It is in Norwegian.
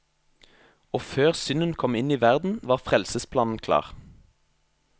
Og før synden kom inn i verden var frelsesplanen klar.